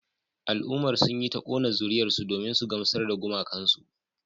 Al'ummar sun yi ta kona zuriyarsu domin su gamsar da gumakansu